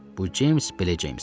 Bu Ceyms belə Ceyms idi.